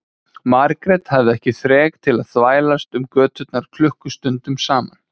Margrét hafði ekki þrek til að þvælast um göturnar klukkustundum saman.